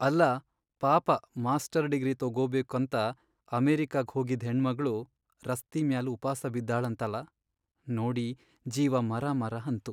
ಅಲ್ಲಾ ಪಾಪ master degree ತೊಗೊಬೇಕಂತ ಅಮೆರಿಕಾಕ್ ಹೋಗಿದ್ ಹೆಣ್ಮಗಳು ರಸ್ತಿ ಮ್ಯಾಲ್ ಉಪಾಸ ಬಿದ್ದಾಳಂತಲ.. ನೋಡಿ ಜೀವ ಮರಮರ ಅಂತು.